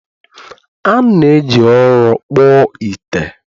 a na-eji ụrọ kpụọ ite